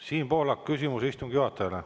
Siim Pohlak, küsimus istungi juhatajale.